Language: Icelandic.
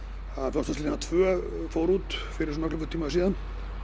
Fljótsdalslína tvö fór út fyrir svona klukkutíma síðan